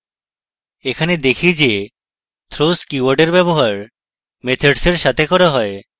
এখানে দেখি যে throws keyword এর ব্যবহার methods এর সাথে করা হয়